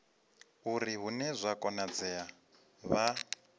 uri hune zwa konadzea vha